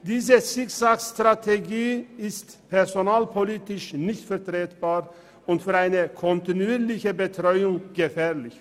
Diese Zickzackstrategie ist personalpolitisch nicht vertretbar und für eine kontinuierliche Betreuung gefährlich.